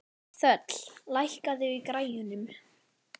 Þöll, lækkaðu í græjunum.